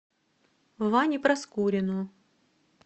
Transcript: ване проскурину